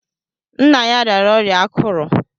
Nna ya rịara ọrịa akụrù.